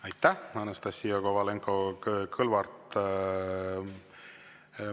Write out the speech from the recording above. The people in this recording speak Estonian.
Aitäh, Anastassia Kovalenko-Kõlvart!